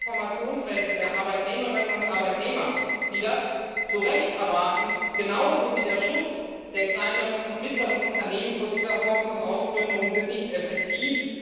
Auch die Informationsrechte der Arbeitnehmerinnen und Arbeitnehmer, die das zu Recht erwarten, genauso wie der Schutz der kleinen und mittleren Unternehmen vor dieser Form von Ausplünderung sind nicht effektiv.